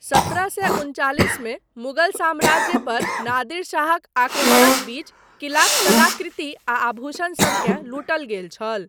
सत्रह सए उनचालीस मे मुगल साम्राज्य पर नादिर शाहक आक्रमणक बीच किलाक कलाकृति आ आभूषण सबकेँ लूटल गेल छल।